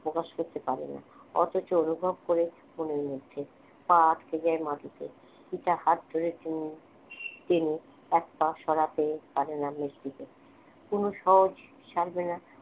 প্রকাশ করতে পারে না অথচ অনুভব করে মনের মধ্যে পা আটকে যায় মাটিতে মিতা হাত ধরে টেনে টেনে এক পা সরাতে পারে না মেজদিকে অনু সহজে ছাড়বেনা